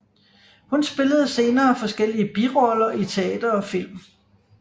Hun spillede senere forskellige biroller i teater og film